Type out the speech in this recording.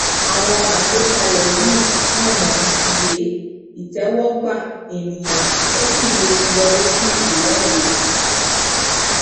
àwọn àgbékalẹ yìí mò mò wé ìtẹwọgbà ènìyàn ó sì lè yọri sí ìwọde